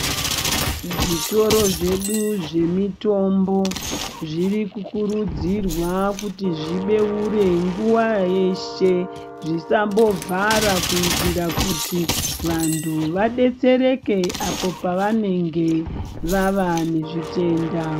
Zvitoro zvedu zvemitombo zviri kukurudzirwa kuti zvibeure nguwa yeshe zvisambovhara kuitira kuti vantu vadetsereke apo pavanenge vava nezvitenda.